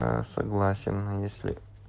а согласен если